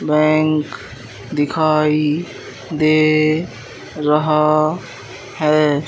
Bank दिखाई दे रहा हैं।